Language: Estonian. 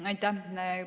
Aitäh!